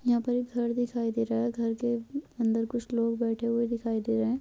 यहाँ पर एक घर दिखाई दे रहा है घर के अंदर कुछ लोग बैठे हुए दिखाई दे रहे हैं।